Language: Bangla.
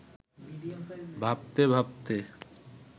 ভাবতে ভাবতে